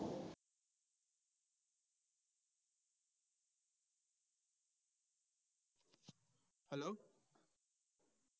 hello